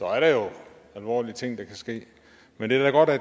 er det jo alvorlige ting der kan ske men det er da godt at